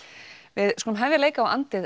við skulum hefja leik á